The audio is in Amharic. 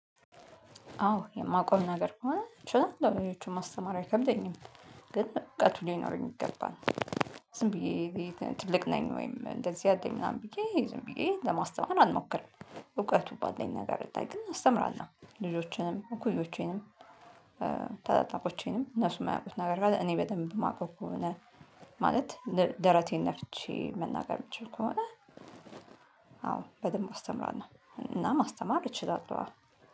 አዎ የማቀው ነገር ከሆነ ችላለው ሌሎቹን ማስተማር አይከብደኝም ግን እዉቀቱ ሊኖረኝ ይገባል። ዝም ብዬ ትልቅ ነኝ ወይም እንደዚህ አለኝ ምናምን ብዬ ዝም ብዬ ለማስተማር አልሞክርም እውቀቱ ባለኝ ነገር ላይ ግን አስተምራለሁ። ልጆችንም እኩዮቼንም ታላላቆቼንም እነሱም ማያውቁት ነገር ካለ እኔ በደንብ የማውቀው ከሆነ። ማለት ደረቴን ነፍቼ መናገር የምችል ከሆነ። አዎ በደንብ አስተምራለሁ እና ማስተማር እችላለሁ።